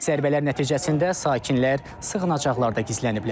Zərbələr nəticəsində sakinlər sığınacaqlarda gizləniblər.